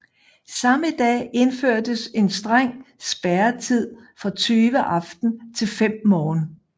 Samme dag indførtes en streng spærretid fra 20 aften til 5 morgen